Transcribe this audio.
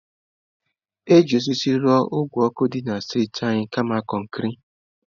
Eji osisi rụọ ogwe ọkụ dị na streetị a kama kọnkịrị